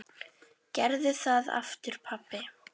Gerðu það aftur pabbi!